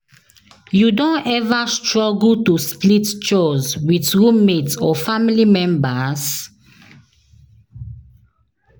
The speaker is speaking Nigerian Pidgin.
You don ever struggle to split chores with roommate or family members?